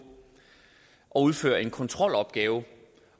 at udføre en kontrolopgave